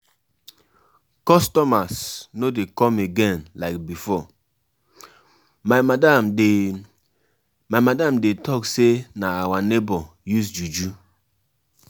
um I like um as my husband dey get access to account everyday.